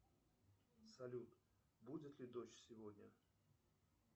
салют будет ли дождь сегодня